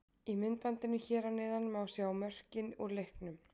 Í myndbandinu hér að neðan má sjá mörkin úr leiknum.